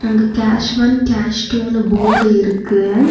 இங்க cash one cash டூன்னு ஃபோர்டு இருக்கு.